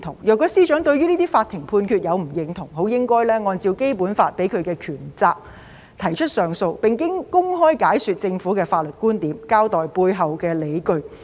如果司長對於這些法庭判決不認同，應該按照《基本法》賦予的權責提出上訴，並公開解說政府的法律觀念，交代背後的理據。